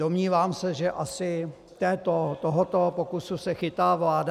Domnívám se, že asi tohoto pokusu se chytá vláda.